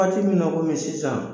Waati min na komi sisan